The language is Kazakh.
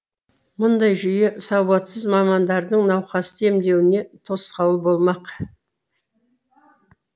мұндай жүйе сауатсыз мамандардың науқасты емдеуіне тосқауыл болмақ